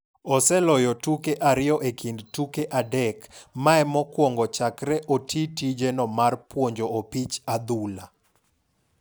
Oseloye tuke ariyo e kind tuke adek mae mokwongo chakre oti tije no mar puonjo opich adhula.